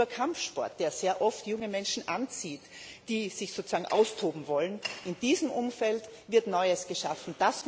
Über Kampfsport, der sehr oft junge Menschen anzieht, die sich sozusagen austoben wollen in diesem Umfeld wird Neues geschaffen.